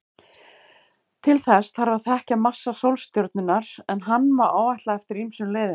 Til þess þarf að þekkja massa sólstjörnunnar, en hann má áætla eftir ýmsum leiðum.